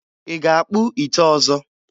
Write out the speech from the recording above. Ị ga-akpụ ite ọzọ?